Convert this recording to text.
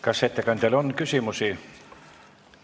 Kas ettekandjale on küsimusi?